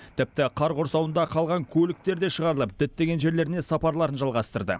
тіпті қар құрсауында қалған көліктер де шығарылып діттеген жерлеріне сапарларын жалғастырды